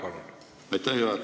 Aitäh, juhataja!